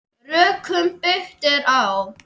Rökum byggt er á.